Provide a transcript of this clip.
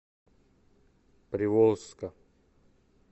приволжска